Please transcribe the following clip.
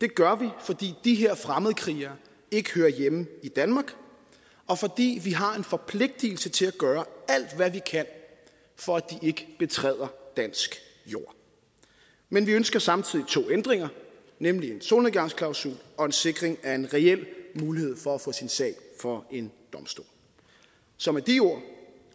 det gør vi fordi de her fremmedkrigere ikke hører hjemme i danmark og fordi vi har en forpligtelse til at gøre alt hvad vi kan for at de ikke betræder dansk jord men vi ønsker samtidig to ændringer nemlig en solnedgangsklausul og en sikring af en reel mulighed for at få sin sag for en domstol så med de ord